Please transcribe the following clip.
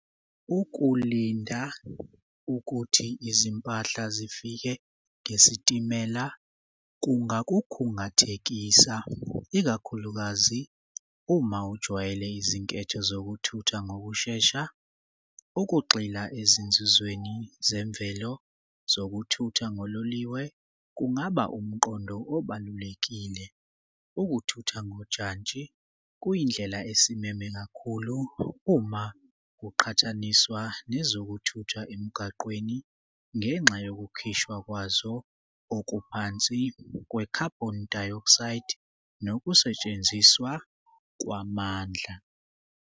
Ukulinda ukuthi izimpahla zifike ngesitimela kungakukhungathekisa ikakhulukazi uma ujwayele izinketho zokuthutha ngokushesha. Ukugxila ezinzuzweni zemvelo zokuthutha ngololiwe kungaba umqondo obalulekile. Ukuthutha ngojantshi kuyindlela esimeme kakhulu uma kuqhathaniswa nezokuthutha emgaqweni ngenxa yokukhishwa kwazo okuphansi kwe-carbon dioxide nokusetshenziswa kwamandla.